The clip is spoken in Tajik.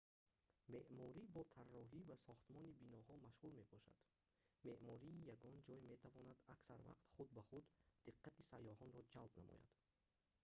меъморӣ бо тарроҳӣ ва сохтмони биноҳо машғул мебошад меъмории ягон ҷой метавонад аксар вақт худ ба худ диққати сайёҳонро ҷалб намояд